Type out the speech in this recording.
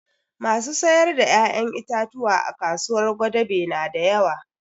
Masu sayar da ƴaƴan itatuwa a kasuwar gwadabe na da yawa